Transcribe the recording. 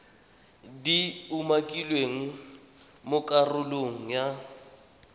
di umakilweng mo karolong ya